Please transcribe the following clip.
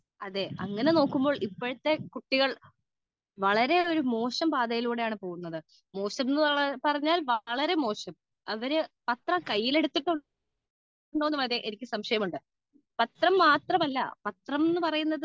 speaker 2 അതെ അങ്ങനെ നോക്കുമ്പോൾ ഇപ്പോഴത്തെ കുട്ടികൾ വളരെ ഒരു മോശം പാതയിലൂടെ ആണ് പോവുന്നത് മോശം എന്ന് പറഞ്ഞാൽ അവര് പത്രം കയ്യിൽ എടുത്തിട്ടുണ്ടോ എന്ന് വരെ എനിക്ക് സംശയം ഉണ്ട് പത്രം മാത്രമല്ല പത്രം എന്ന് പറയുന്നത്